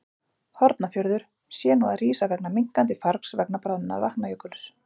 Hornafjörður, sé nú að rísa vegna minnkandi fargs vegna bráðnunar Vatnajökuls.